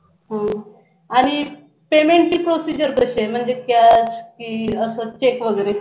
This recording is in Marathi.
हम्म आणि payment ची procedure कशी आहे म्हणजे cash, bill अस check वगैरे.